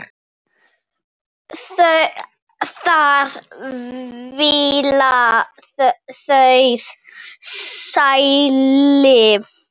að fylla auð sæti.